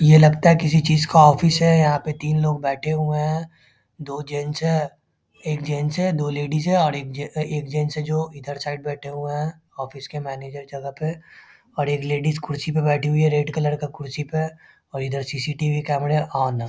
ये लगता है किसी चीज का ऑफिस है यहाँ पे तिन लोग बैठे हुए हैं दो जेंट्स हैं एक जेंट्स है दो लेडीज हैं और एक जेंट्स है जो इधर साइड बैठे हुए हैं ऑफिस के मैनेजर जगह पे और एक लेडीज कुर्सी पे बैठी हुई है रेड कलर का कुर्सी पे और इधर सी.सी.टी.वी. कैमरा ऑन है ।